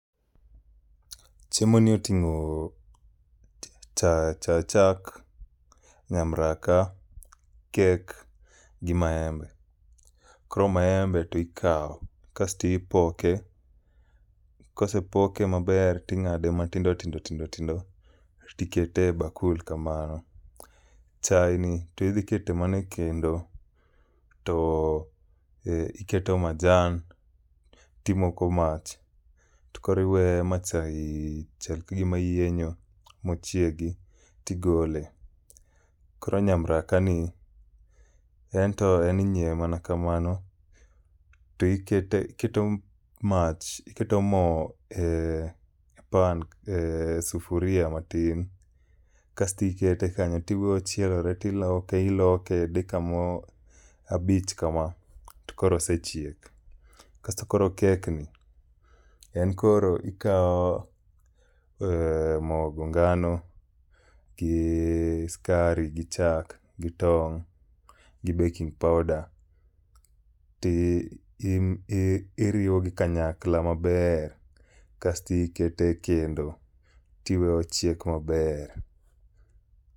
Chiemo ni oting'o cha chak, nyamraka, kek, gi maembe. Koro maembe to ikawo kasto ipoke, kosepoke maber ting'ade matindo tindo tindo, tindo, tikete e bakul kamano. Chae ni to idhi keto mana e kendo, to e iketo majan timoko mach. To koro iweyo ma chae chal ka gima yienyo mochiegi, tigole. Koro nyamraka ni, en to en inyiewe mana kamano. To ikete iketo mach iketo mo e pan e sufuria matin , kasto ikete kanyo. Tiwe ochielore tiloke iloke dakika moro abich kama, to koro osechiek. Kasto koro kek ni, en koro ikawo uh mogo ngano, gi skari gi chak gi tong' gi baking powder ti i iriwogi kanyakla maber. Kasti ikete kendo tiwe ochiek maber.